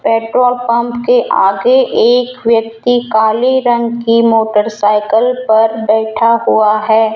Petrol pump के आगे एक व्यक्ति काले रंग की मोटरसाइकल पर बैठा हुआ है।